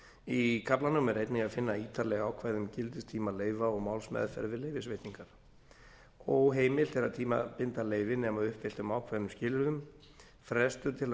í kaflanum er einnig að finna ítarleg ákvæði um gildistíma leyfa og málsmeðferð við leyfisveitingar óheimilt að tímabinda leyfi nema að uppfylltum ákveðnum skilyrðum frestur til að